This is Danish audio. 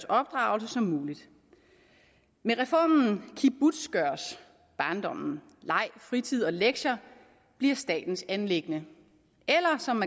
opdragelse som muligt med reformen kibbutzgøres barndommen leg fritid og lektier bliver statens anliggende eller som